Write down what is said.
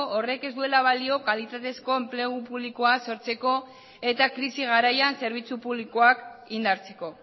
horrek ez duela balio kalitatezko enplegu publikoa sortzeko eta krisi garaian zerbitzu publikoak indartzeko